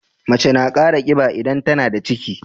Mace na Kara kiba idan tAnada ciki